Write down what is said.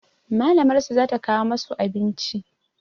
Malamar su za ta kawo masu abinci